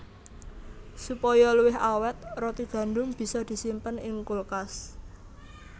Supaya luwih awèt roti gandum bisa disimpen ing kulkas